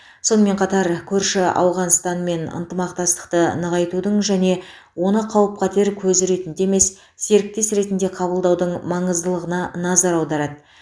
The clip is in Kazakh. сонымен қатар көрші ауғанстанмен ынтымақтастықты нығайтудың және оны қауіп қатер көзі ретінде емес серіктес ретінде қабылдаудың маңыздылығына назар аударады